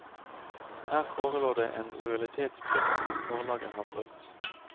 Her forelå det en lojalitetsplikt som forlaget har brutt.